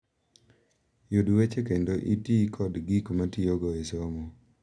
Yud weche kendo iti kod gik mitiyogo e somo.